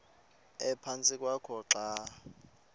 ephantsi kwakho xa